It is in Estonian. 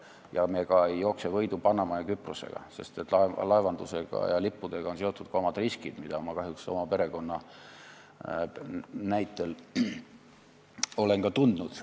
Ja me ka ei jookse võidu Panama ja Küprosega, sest laevandusega ja lippudega on seotud ka omad riskid, mida ma kahjuks oma perekonna nahalgi olen tundnud.